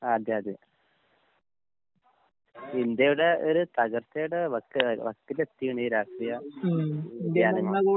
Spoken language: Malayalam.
അതെ അതെ. ഇപ്പ ഇന്ത്യയുടെ ഒരു തകർച്ചയുടെ വക്ക് എ വക്കിലെത്തി ഈ രാഷ്ട്രീയ ജനങ്ങള്